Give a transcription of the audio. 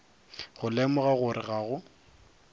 go lemoga gore ga go